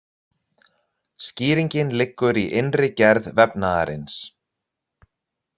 Skýringin liggur í innri gerð vefnaðarins.